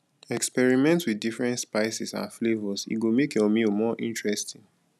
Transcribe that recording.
experiment with different spices and flavors e go make your meal more interesting